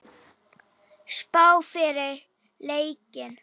Spá fyrir leikinn?